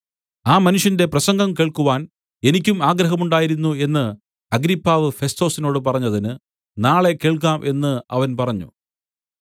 ആ മനുഷ്യന്റെ പ്രസംഗം കേൾക്കുവാൻ എനിക്കും ആഗ്രഹമുണ്ടായിരുന്നു എന്ന് അഗ്രിപ്പാവ് ഫെസ്തൊസിനോടു പറഞ്ഞതിന് നാളെ കേൾക്കാം എന്നു അവൻ പറഞ്ഞു